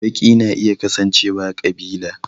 Baki na iya kasancewa ƙabila